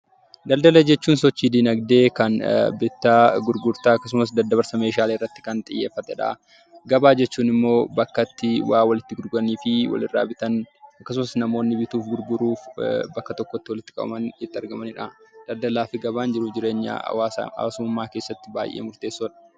Daldala jechuun sochii dinagdee bittaa, gurgurtaa akkasumas daddabarsa meeshaqlee irratti kan xiyyeeffate dha. Gabaa jechuun immoo bakka waa walitti gurguranii fi wal irraa bitan akkasumas immoo bituuf, gurguruuf namoonni walitti qabaman itti argamani dha. Daldalaaf gabaan jiruuf jireenya hawaasummaa keessatti baay'ee murteessoo dha.